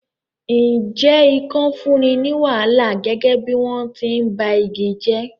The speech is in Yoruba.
Ǹjẹ́ ikàn fúnni ní wàhálà gẹ́gẹ́ bí wọ́n ti ń ba igi jẹ́?